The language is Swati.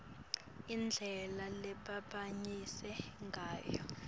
indlela lebebambatsa ngayo